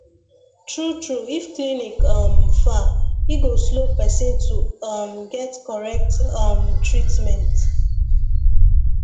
true true if clinic um far e go slow person to um get correct um treatment